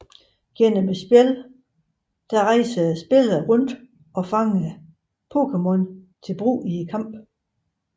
Gennem spillet rejser spilleren rundt og fanger Pokémon til brug i kampe